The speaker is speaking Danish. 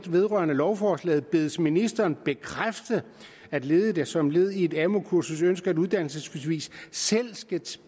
vedrørende lovforslaget bedes ministeren bekræfte at ledige der som led i et amu kursus ønsker et uddannelsesbevis selv skal